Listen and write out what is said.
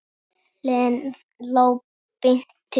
Leiðin lá beint til